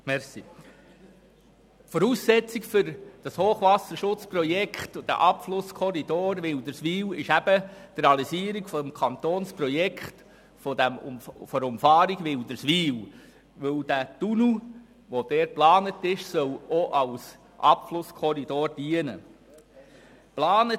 der BaK. Die Voraussetzung für das Hochwasserprojekt und den Abflusskorridor Wilderswil ist das Kantonsprojekt der Umfahrung von Wilderswil, weil der dort geplante Tunnel auch als Abflusskorridor dienen soll.